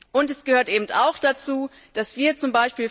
Und es gehört eben auch dazu, dass wir z.